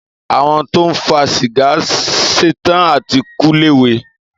Àwón tọ ń fà sígà sẹtàn àtí kú lẹwé.